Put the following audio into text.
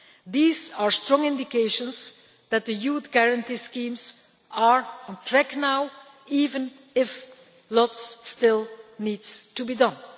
These are strong indications that the Youth Guarantee schemes are on track now, even if much still needs to be done.